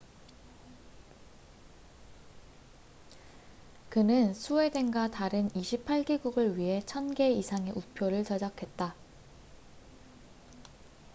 그는 스웨덴과 다른 28개국을 위해 1,000개 이상의 우표를 제작했다